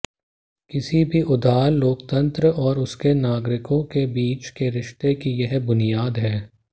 किसी भी उदार लोकतंत्र और उसके नागरिकों के बीच के रिश्ते की यह बुनियाद है